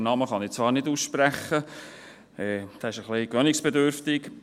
Den Namen kann ich zwar nicht aussprechen, der ist ein wenig gewöhnungsbedürftig.